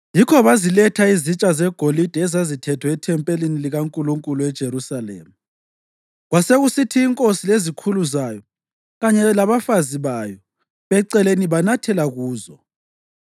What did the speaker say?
Yikho baziletha izitsha zegolide ezazithethwe ethempelini likaNkulunkulu eJerusalema, kwasekusithi inkosi lezikhulu zayo kanye labafazi bayo beceleni banathela kuzo.